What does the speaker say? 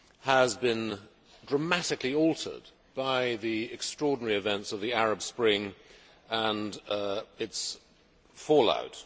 has been dramatically altered by the extraordinary events of the Arab Spring and its fall out.